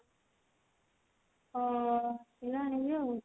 ହଉ ଆସିଲେ ଆଣିବି ଆଉ।